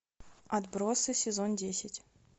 отбросы сезон десять